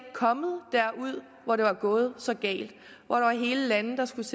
kommet derud hvor det var gået så galt at hele landes